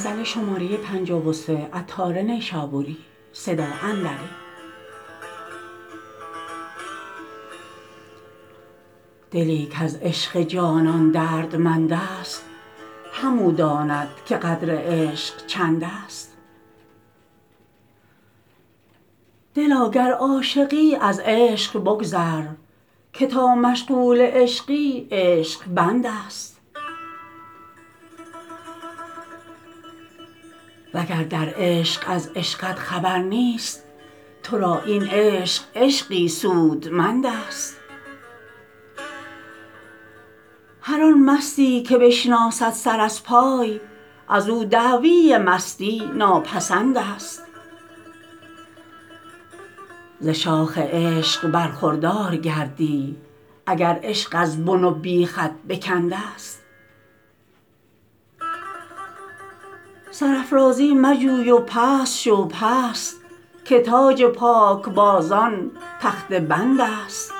دلی کز عشق جانان دردمند است همو داند که قدر عشق چند است دلا گر عاشقی از عشق بگذر که تا مشغول عشقی عشق بند است وگر در عشق از عشقت خبر نیست تو را این عشق عشقی سودمند است هر آن مستی که بشناسد سر از پای ازو دعوی مستی ناپسند است ز شاخ عشق برخوردار گردی اگر عشق از بن و بیخت بکند است سرافرازی مجوی و پست شو پست که تاج پاک بازان تخته بند است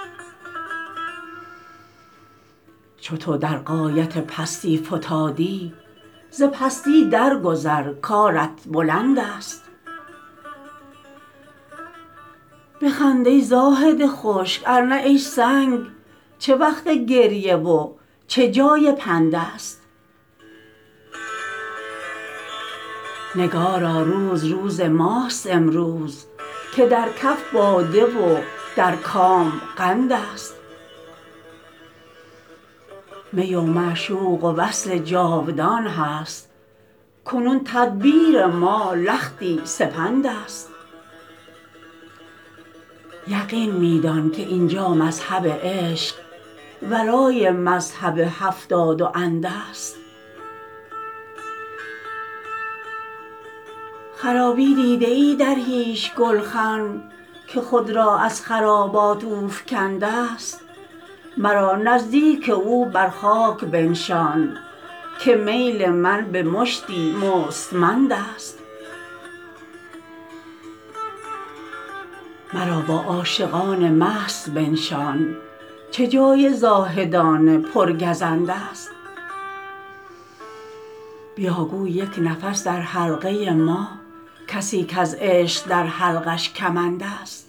چو تو در غایت پستی فتادی ز پستی در گذر کارت بلند است بخند ای زاهد خشک ارنه ای سنگ چه وقت گریه و چه جای پند است نگارا روز روز ماست امروز که در کف باده و در کام قند است می و معشوق و وصل جاودان هست کنون تدبیر ما لختی سپند است یقین می دان که اینجا مذهب عشق ورای مذهب هفتاد و اند است خرابی دیده ای در هیچ گلخن که خود را از خرابات اوفگند است مرا نزدیک او بر خاک بنشان که میل من به مشتی مستمند است مرا با عاشقان مست بنشان چه جای زاهدان پر گزند است بیا گو یک نفس در حلقه ما کسی کز عشق در حلقش کمند است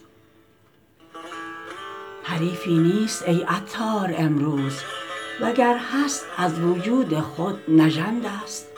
حریفی نیست ای عطار امروز وگر هست از وجود خود نژند است